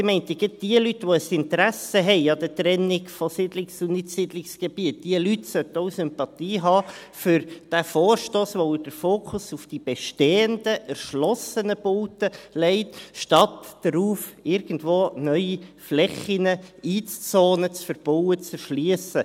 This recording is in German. Also: Ich meinte, gerade diese Leute, die ein Interesse an der Trennung von Siedlungs- und Nichtsiedlungsgebiet haben, sollten auch Sympathie für diesen Vorstoss haben, weil er den Fokus auf die bestehenden, erschlossenen Bauten legt, statt darauf, irgendwo neue Flächen einzuzonen, zu verbauen, zu erschliessen.